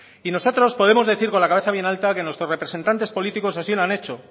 y nosotros podemos decir con la cabeza bien alta que nuestros representantes políticos así lo han hecho